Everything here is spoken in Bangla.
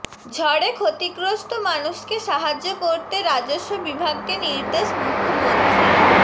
ঝড়ে ক্ষতিগ্ৰস্ত মানুষকে সাহায্য করতে রাজস্ব বিভাগকে নির্দেশ মুখ্যমন্ত্ৰীর